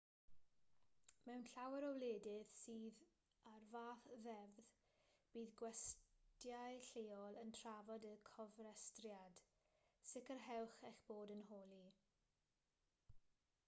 mewn llawer o wledydd sydd a'r fath ddeddf bydd gwestyau lleol yn trafod y cofrestriad sicrhewch eich bod yn holi